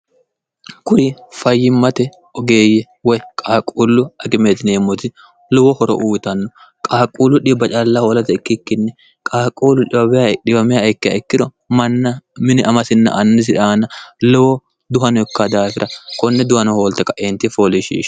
kuri fayyimmate ogeeyye woy qaaquullu agimeetineemmoti lowo horo uyitanno qaaquullu dhiba call hoolate ikkikkinni qaaquullu dikk ikkiro manna mini amasinna annisi raana lowo duhankk daafira konne duwano hoolte qaeenti foolishishe